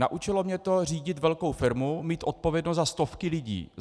Naučilo mě to řídit velkou firmu, mít odpovědnost za stovky lidí.